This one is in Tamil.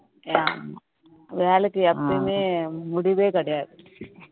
ஆமா வேலைக்கு எப்பயுமே முடிவே கிடையாது